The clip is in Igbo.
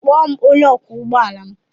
Kpọọ m onye ọkwọ ụgbọ ala m.